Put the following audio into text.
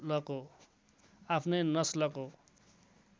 आफ्नै नस्लको